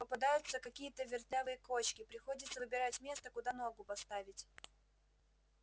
попадаются какие-то вертлявые кочки приходится выбирать место куда ногу поставить